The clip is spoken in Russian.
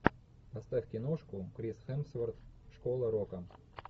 поставь киношку крис хемсворт школа рока